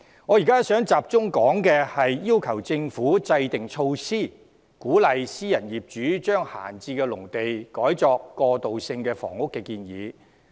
我現在想集中談談要求政府制訂措施，鼓勵私人業主將閒置農地改作過渡性房屋的建議。